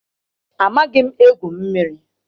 Amaghị m egwu mmiri.